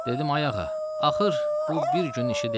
Dedim, ay ağa, axır bu bir günün işi deyil.